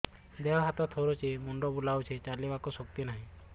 ଦେହ ହାତ ଥରୁଛି ମୁଣ୍ଡ ବୁଲଉଛି ଚାଲିବାକୁ ଶକ୍ତି ନାହିଁ